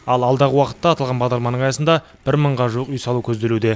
ал алдағы уақытта аталған бағдарламаның аясында бір мыңға жуық үй салу көзделуде